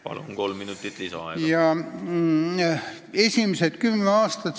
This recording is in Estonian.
Palun, kolm minutit lisaaega!